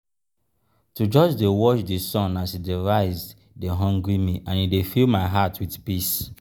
to just dey watch di sun as e dey rise dey hungry me and e fill my heart with peace.